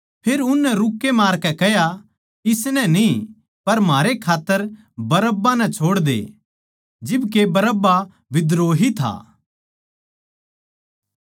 फेर उननै रूक्के मारकै कह्या इसनै न्ही पर म्हारै खात्तर बरअब्बा नै छोड़दे जिब के बरअब्बा बिद्रोही था